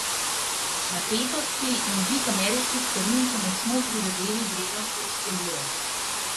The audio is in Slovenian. Napetosti in dvig ameriških carin so močno prizadeli vrednost turške lire.